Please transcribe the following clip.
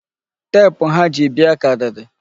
Teepu ha ji bịa karịrị.